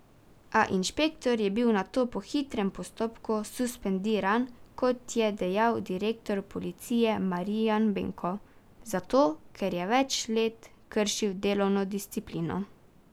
A inšpektor je bil nato po hitrem postopku suspendiran, kot je dejal direktor policije Marijan Benko zato, ker je več let kršil delovno disciplino.